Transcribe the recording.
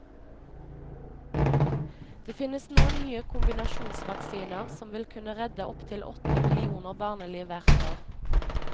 Det finnes nå nye kombinasjonsvaksiner som vil kunne redde opptil åtte millioner barneliv hvert år.